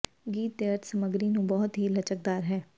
ਗੀਤ ਦੇ ਅਰਥ ਸਮੱਗਰੀ ਨੂੰ ਬਹੁਤ ਹੀ ਲਚਕਦਾਰ ਹੈ